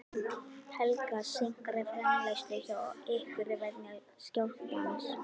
Helga: Seinkar framleiðslu hjá ykkur vegna skjálftans?